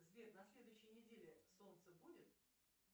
сбер на следующей неделе солнце будет